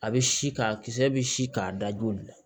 A bɛ si k'a kisɛ bɛ si k'a da joli la